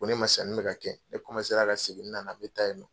Ko ne ma sanni bɛ ka kɛ ne ka segin ni n nana n bɛ taa yennɔ.